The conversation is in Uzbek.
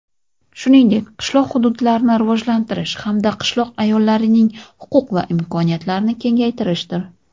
shuningdek qishloq hududlarni rivojlantirish hamda qishloq ayollarining huquq va imkoniyatlarini kengaytirishdir.